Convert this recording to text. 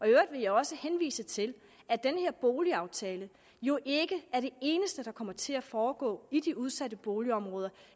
jeg også henvise til at den her boligaftale jo ikke er det eneste der kommer til at foregå i de udsatte boligområder